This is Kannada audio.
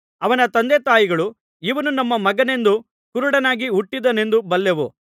ಅವನ ತಂದೆ ತಾಯಿಗಳು ಇವನು ನಮ್ಮ ಮಗನೆಂದೂ ಕುರುಡನಾಗಿ ಹುಟ್ಟಿದನೆಂದೂ ಬಲ್ಲೆವು